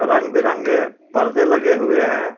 रंग बिरंगे परदे लगे हुए हैं।